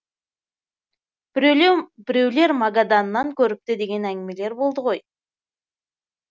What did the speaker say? біреулер магаданнан көріпті деген әңгімелер болды ғой